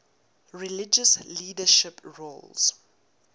religious leadership roles